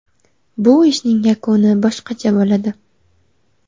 Bu ishning yakuni boshqacha bo‘ladi.